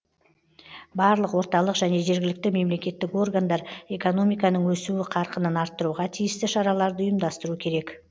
барлық орталық және жергілікті мемлекеттік органдар экономиканың өсуі қарқынын арттыруға тиісті шараларды ұйымдастыру керек